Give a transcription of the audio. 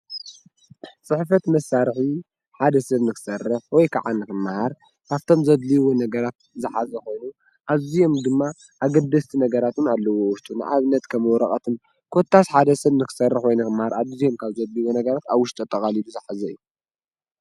ስሕፈት መሣርሒ ሓደ ሰብ ንኽሠርሕ ወይ ከዓን ክመሃር ኻብቶም ዘድልይዎ ነገራት ዝኃዚኾኑ ኣዙየም ድማ ኣግድስቲ ነገራቱን ኣለዎ። ወሽቱ ንዓብነት ከምወረቐትን ኰታስ ሓደ ሰብ ንኽሠርሕ ወይነ ኽምሃር ኣዲዙየም ካብ ዘድልዎ ነገራት ኣውሽቶ ኣጠቓሊሉ ዘኃዘይ እዩ።